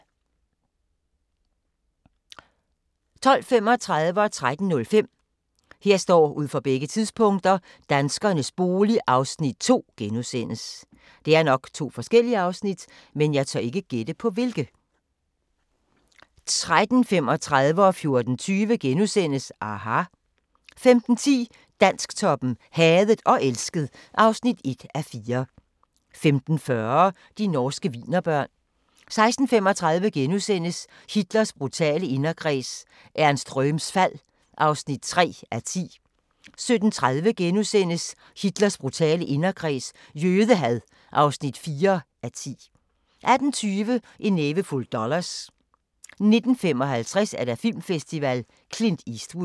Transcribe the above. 12:35: Danskernes bolig (Afs. 2)* 13:05: Danskernes bolig (Afs. 2)* 13:35: aHA! * 14:20: aHA! * 15:10: Dansktoppen: Hadet og elsket (1:4) 15:40: De norske wienerbørn 16:35: Hitlers brutale inderkreds – Ernst Röhms fald (3:10)* 17:30: Hitlers brutale inderkreds – jødehad (4:10)* 18:20: En nævefuld dollars 19:55: Filmfestival: Clint Eastwood